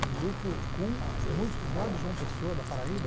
um grupo com músicos lá de João Pessoa, da Paraíba.